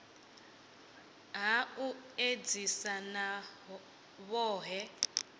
ha u edzisa na vhohe